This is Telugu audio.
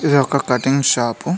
ఇది ఒక కటింగ్ షాపు .